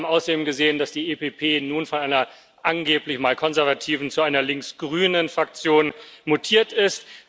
Wir haben außerdem gesehen, dass die EVP nun von einer angeblich mal konservativen zu einer links grünen Fraktion mutiert ist.